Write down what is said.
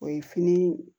O ye fini